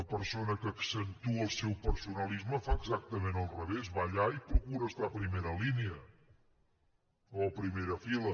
una persona que accentua el seu personalisme fa exactament el revés va allà i procura estar a primera línia o a primera fila